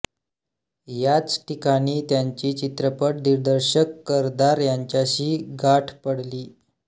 याच ठीकाणी त्यांची चित्रपट दिग्दर्शक करदार यांच्यासी गाठ पडली